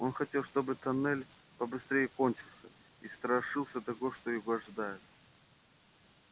он хотел чтобы тоннель побыстрее кончился и страшился того что его ожидает